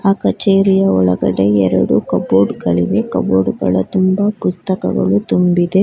ಕಚೇರಿಯ ಒಳಗಡೆ ಎರಡು ಕಬೋರ್ಡ್ ಗಳಿವೆ ಕಬೋರ್ಡ್ ಗಳು ತುಂಬಾ ಪುಸ್ತಕಗಳು ತುಂಬಿದೆ.